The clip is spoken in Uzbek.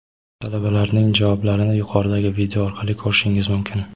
Talabalarning javoblarini yuqoridagi video orqali ko‘rishingiz mumkin.